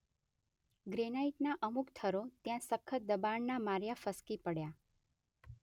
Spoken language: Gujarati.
ગ્રેનાઇટના અમુક થરો ત્યાં સખત દબાણના માર્યા ફસકી પડ્યા.